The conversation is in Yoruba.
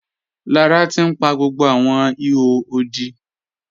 Lára ti n pa gbogbo awọn ìhò òdí.